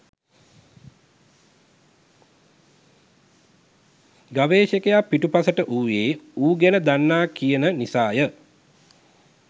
ගවේෂකයා පිටුපසට වූයේ ඌ ගැන දන්නා කියන නිසාය